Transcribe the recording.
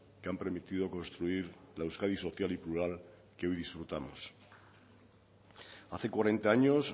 que han permitido construir la euskadi social y plural que hoy disfrutamos hace cuarenta años